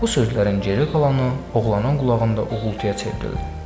Bu sözlərin geri qalanı oğlanın qulağında uğultuya çevrildi.